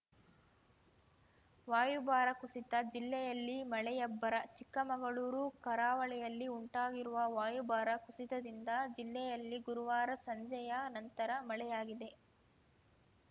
ವಾಯುಭಾರ ಕುಸಿತ ಜಿಲ್ಲೆಯಲ್ಲಿ ಮಳೆಯಬ್ಬರ ಚಿಕ್ಕಮಗಳೂರು ಕರಾವಳಿಯಲ್ಲಿ ಉಂಟಾಗಿರುವ ವಾಯುಭಾರ ಕುಸಿತದಿಂದ ಜಿಲ್ಲೆಯಲ್ಲಿ ಗುರುವಾರ ಸಂಜೆಯ ನಂತರ ಮಳೆಯಾಗಿದೆ